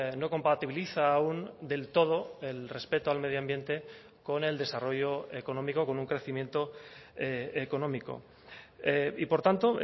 no compatibiliza aun del todo el respeto al medio ambiente con el desarrollo económico con un crecimiento económico y por tanto